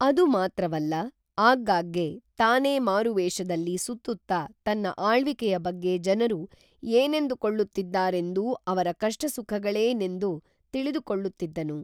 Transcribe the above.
ಅದು ಮಾತ್ರವಲ್ಲ ಆಗಾಗ್ಗೇ ತಾನೇ ಮಾರುವೇಷದಲ್ಲಿ ಸುತ್ತುತ್ತಾ ತನ್ನ ಆಳ್ವಿಕೇಯ ಬಗ್ಗೇ ಜನರು ಏನೆಂದು ಕೊಳ್ಳುತ್ತಿದ್ದಾರೆಂದೂ ಅವರ ಕಷ್ಟ ಸುಖಗಳೇ ನೆಂದೂ ತಿಳಿದುಕೊಳ್ಳುತ್ತಿದ್ದನು